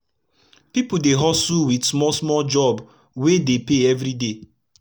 pipu dey hustle wit small small job wey dey pay everi day